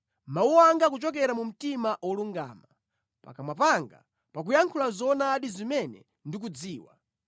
Mawu anga akuchokera mu mtima wolungama; pakamwa panga pakuyankhula zoonadi zimene ndikuzidziwa.